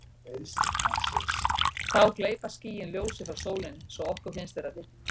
þá gleypa skýin ljósið frá sólinni svo að okkur finnst vera dimmt